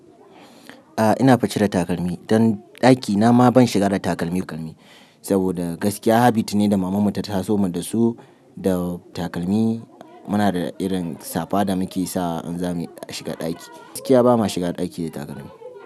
A'a ina cire takalmi, dan ɗakina ma ban shiga da takalmi takalmi, saboda gaskiya habit ne da mamanmu ta taso mu da su, da takalmi mu na da irin safa da mu ke sawa in za mu shiga ɗaki. Gaskiya ba ma shiga ɗaki da takalmi.